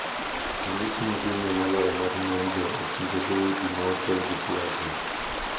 Ranyisi maduong’ie moloyo mar ng’anjo e kind dhoudi ma okelo gi siasa